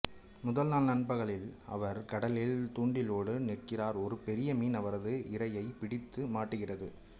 முதல் நாள் நண்பகலில் அவர் கடலில் தூண்டிலோடு நிற்கிறார் ஒரு பெரிய மீன் அவரது இரையை பிடித்து மாட்டுகிறது